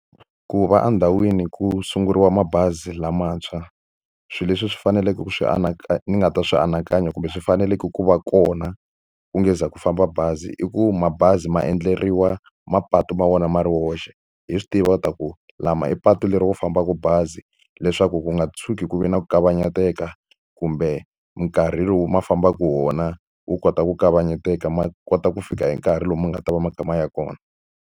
Ku va endhawini ku sunguriwa mabazi lamantshwa, swilo leswi swi faneleke ku swi ni nga ta swi anakanya kumbe swi faneleke ku va kona ku nga se za ku famba bazi i ku mabazi ma endleriwa mapatu ma vona ma ri woxe. Hi swi tiva leswaku lama i patu leri ku fambaka bazi, leswaku ku nga tshuki ku ve na ku kavanyeteka kumbe nkarhi lowu ma fambaka hi wona wu kota ku kavanyeteka. Ma kota ku fika hi nkarhi lomu ma nga ta va ma kha ma ya kona.